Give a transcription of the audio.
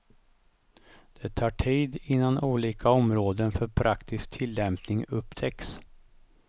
Det tar tid innan olika områden för praktisk tillämpning upptäcks.